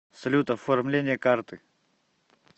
салют оформление карты